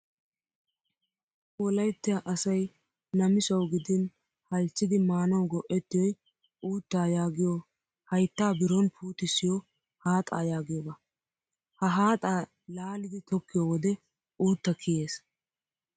Wolayitya asayi namisawu gidin halchchidi maanawu go"ettiyoi uuttaa yaagiyoo hayittaa biron puutissiyoo haaxaa yaagiyoogaa. Ha haaxaa laalidi tokkiyoo wode uuttaa kiyes.